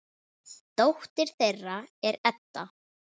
Dóttir þeirra er Edda.